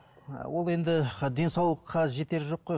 ы ол енді денсаулыққа жетері жоқ қой